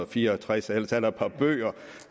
fire og tres ellers er der et par bøger